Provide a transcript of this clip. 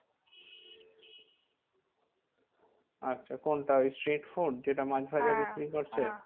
আচ্ছা কোনটা ওই street food যেটা মাছ ভাজা বিক্রি করছে?